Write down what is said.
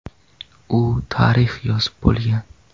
U tarix yozib bo‘lgan.